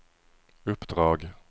uppdrag